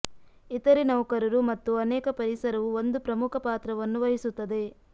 ಇತರೆ ನೌಕರರು ಮತ್ತು ಅನೇಕ ಪರಿಸರವು ಒಂದು ಪ್ರಮುಖ ಪಾತ್ರವನ್ನು ವಹಿಸುತ್ತದೆ